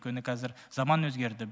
өйткені қазір заман өзгерді